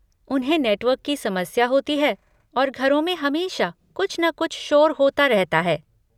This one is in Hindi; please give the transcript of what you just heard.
उन्हें नेटवर्क की समस्या होती है और घरों में हमेशा कुछ न कुछ शोर होता रहता है।